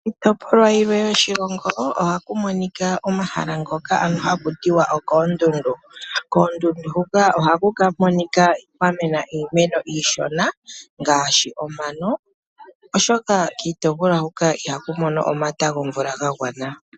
Iitopolwa yilwe yoshilongo ohaku monika omahala ngoka ano haku tiwa okoondundu. Koondundu hoka ohaku monika kwa mena iimeno iishona ngaashi omano, oshoka kiitopolwa hoka ihaku mono omata gomvula ga gwana.